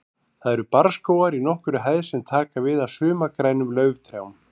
Þar eru barrskógar í nokkurri hæð sem taka við af sumargrænum lauftrjám.